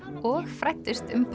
og fræddust um